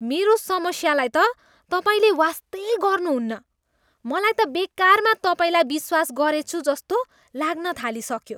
मेरो समस्यालाई त तपाईँले वास्तै गर्नुहुन्न। मलाई त बेकारमा तपाईँलाई विश्वास गरेछु जस्तो लाग्न थालिसक्यो!